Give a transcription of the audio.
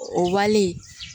O wale